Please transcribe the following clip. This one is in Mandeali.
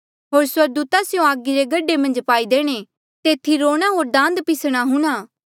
होर स्वर्गदूता स्यों आगी रे गड्ढे मन्झ पाई देणे तेथी रोणा होर दांत पिसणा हूंणां